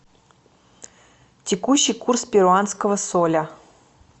текущий курс перуанского соля